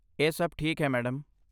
ਇਹ ਸਭ ਠੀਕ ਹੈ, ਮੈਡਮ।